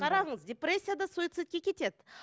қараңыз депрессияда суицидке кетеді